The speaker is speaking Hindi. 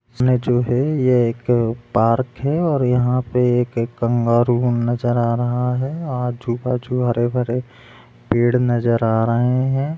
इसमें जो हैं यह एक पार्क है और यहाँ पे एक कंगारू नजर आ रहा है आजू - बाजू हरे - भरे पेड़ नजर आ रहे है।